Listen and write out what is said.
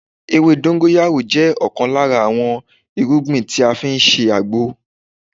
Ewé dongoyaro jẹ́ ọ̀kan lára àwọn irúgbìn tí a fi ń ṣe àgbo